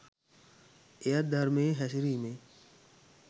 එයත් ධර්මයේ හැසිරීමේ